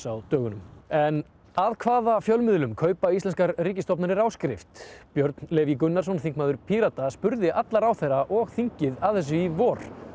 á dögunum en af hvaða fjölmiðlum kaupa íslenskar ríkisstofnanir áskrift Björn Leví Gunnarsson þingmaður Pírata spurði alla ráðherra og þingið að þessu í vor